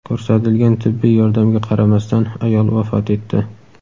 Ko‘rsatilgan tibbiy yordamga qaramasdan ayol vafot etdi.